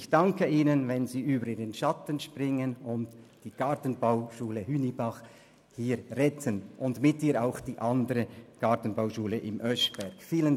Ich danke Ihnen, wenn Sie über Ihren Schatten springen und die Gartenbauschule Hünibach und mit ihr auch die andere Gartenbauschule im Oeschberg retten.